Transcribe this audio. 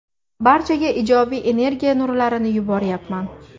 Barchaga ijobiy energiya nurlarini yuboryapman.